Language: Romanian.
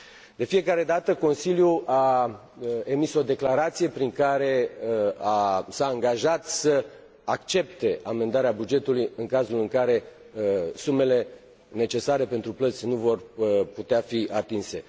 De fiecare dată, Consiliul a emis o declarație prin care s a angajat să accepte amendarea bugetului în cazul în care sumele necesare pentru plăți nu vor putea fi atinse.